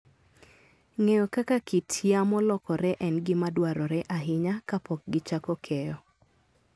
Ng'eyo kaka kit yamo lokore en gima dwarore ahinya kapok gichako keyo.